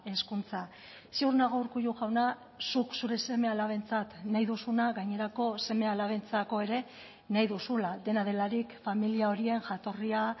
hezkuntza ziur nago urkullu jauna zuk zure seme alabentzat nahi duzuna gainerako seme alabentzako ere nahi duzula dena delarik familia horien jatorria